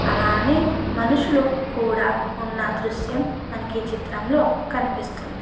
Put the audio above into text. అలానే మనుషులు కూడా ఉన్నా దృశ్యం మనకి ఈ చిత్రంలో కనిస్పిస్తుంది.